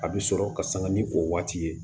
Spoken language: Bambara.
A bɛ sɔrɔ ka sanga ni o waati ye